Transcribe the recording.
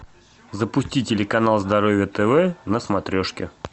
запусти телеканал здоровье тв на смотрешке